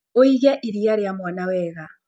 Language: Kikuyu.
ũige iria rĩa mwana wega.